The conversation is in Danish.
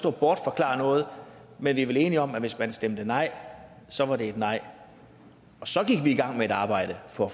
og bortforklare noget men vi er vel enige om at hvis man stemte nej så var det et nej og så gik vi i gang med at arbejde for